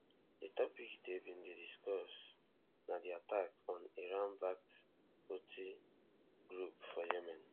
di topic dem bin dey discuss na di attack on iranbacked houthi group for yemen